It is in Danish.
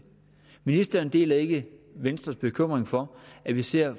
ministeren deler ikke venstres bekymring for at vi ser